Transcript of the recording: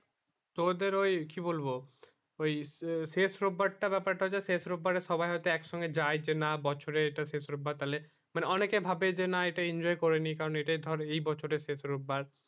তোদের ওই কি বলবো ওই শেষ রবিবার টা ব্যাপার টা হচ্ছে শেষ রোববার সবাই হয়তো এক সঙ্গে যায় না বছরে এইটা শেষ রোববার তালে মানে অনেক ভাববে যে না এইটা enjoy করে নি কারণ এইটা ধর এই বছরে শেষ রোববার